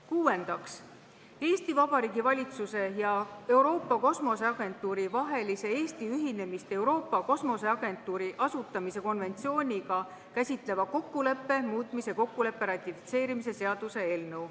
Kuuendaks, Eesti Vabariigi valitsuse ja Euroopa Kosmoseagentuuri vahelise Eesti ühinemist Euroopa Kosmoseagentuuri asutamise konventsiooniga käsitleva kokkuleppe muutmise kokkuleppe ratifitseerimise seaduse eelnõu.